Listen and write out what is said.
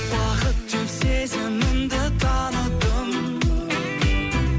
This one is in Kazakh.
бақыт деп сезімімді таныдым